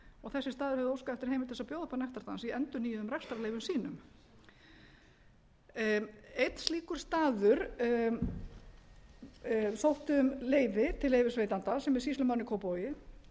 og þessir staðir höfðu óskað eftir heimild til þess að bjóða upp á nektardans í endurnýjuðum rekstrarleyfum sínum einn slíkur staður sótti um leyfi til leyfisveitanda sem er sýslumaðurinn í kópavogi lögreglustjórinn á höfuðborgarsvæðinu sem er